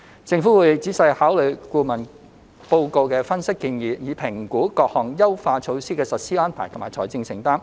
政府會仔細考慮顧問報告的分析和建議，以評估各項優化措施的實施安排和財政承擔。